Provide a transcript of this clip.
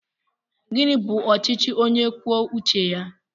Gịnị bú ọchịchị ónyé kwụọ uche ya?